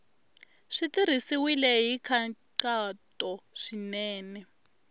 swi tirhisiwile hi nkhaqato swinene